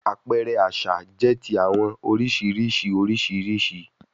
Apẹrẹ aṣa jẹ ti awọn oriṣiriṣi oriṣiriṣi